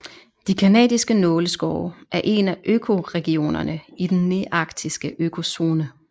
De canadiske nåleskove er en af økoregionerne i i den nearktiske økozone